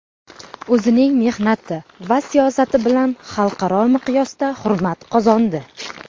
O‘zining mehnati va siyosati bilan xalqaro miqyosda hurmat qozondi.